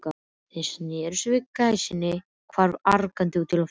Þeir sneru við og gæsin hvarf gargandi út í loftið.